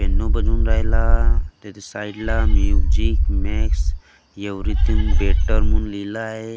Piano बजून राहिला त्याच्या साईडला म्युझिक मेक्स एव्हरीथिंग बेटर म्हणून लिहिलं आहे.